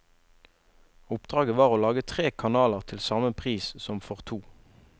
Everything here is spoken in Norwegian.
Oppdraget var å lage tre kanaler til samme pris som for to.